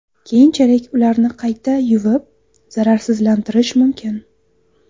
Keyinchalik ularni qayta yuvib, zararsizlantirish mumkin.